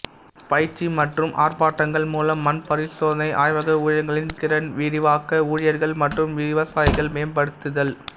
பயிற்சி மற்றும் ஆர்ப்பாட்டங்கள் மூலம் மண் பரிசோதனை ஆய்வக ஊழியர்களின் திறன் விரிவாக்க ஊழியர்கள் மற்றும் விவசாயிகள் மேம்படுத்துதல்